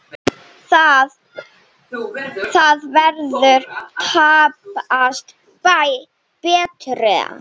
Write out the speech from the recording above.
Það verður tæpast betra.